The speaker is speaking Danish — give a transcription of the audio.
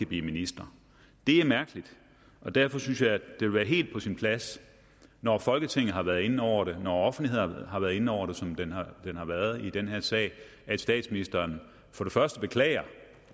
blive minister det er mærkeligt og derfor synes jeg at det vil være helt på sin plads når folketinget har været inde over det når offentligheden har været inde over det som den har været i den her sag at statsministeren for det første beklager